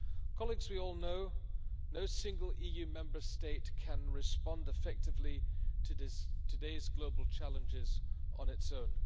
Colleagues, we all know that no single EU Member State can respond effectively to today's global challenges on its own.